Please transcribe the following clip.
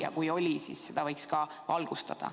Ja kui oli, siis seda võiks ka valgustada.